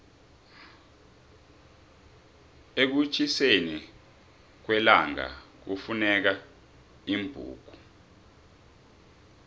ekutjhiseni kwellangakufuneka iimbuko